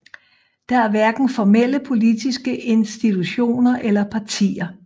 Der er hverken formelle politiske institutioner eller partier